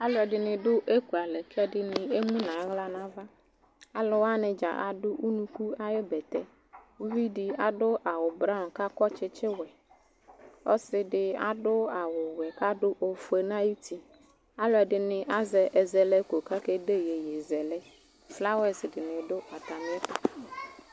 Alʋɛdɩnɩ dʋ ekualɛ k'ɛdɩnɩ emu n'aɣla n'ava ;alʋwanɩ dza adʋ unuku ayʋ bɛtɛ Uvidɩ adʋ awʋ(braɔnɩ) k'akɔ tsitsiwɛ ;ɔsɩdɩ adʋ awʋwɛ k'adʋ ofue n'ayuti Alʋɛdɩnɩ azɛ ɛzɛlɛko k'akede iyeyezɛlɛ ; flawa dɩnɩ dʋ atamɩɛtʋ